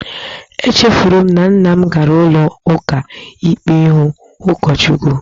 Echefuru m na nna m gara ụlọ ụka ikpe ịhụ ụkọchukwu